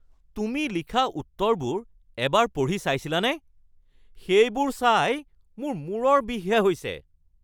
তুমি লিখা উত্তৰবোৰ এবাৰ পঢ়ি চাইছিলানে? সেইবোৰ চাই মোৰ মূৰৰ বিষহে হৈছে (শিক্ষক)